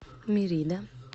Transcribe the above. мерида